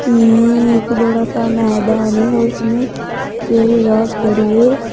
ये एक बड़ा सा मैदान है जिसमें हरी हरी घास खड़ी है।